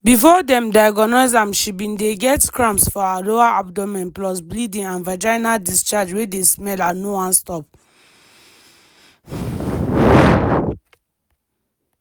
before dem diagnose am she bin dey get cramps for her lower abdomen plus bleeding and vaginal discharge wey dey smell and no wan stop.